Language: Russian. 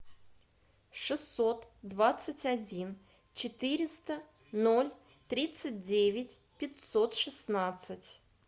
шестьсот двадцать один четыреста ноль тридцать девять пятьсот шестнадцать